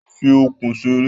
Yé fi ọ̀kùn ṣeré.